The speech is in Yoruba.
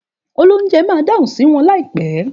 Òlóunjé má dáhun sí wõn laípè